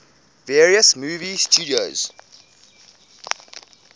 various movie studios